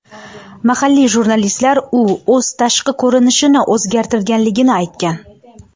Mahalliy jurnalistlar u o‘z tashqi ko‘rinishini o‘zgartirganligini aytgan.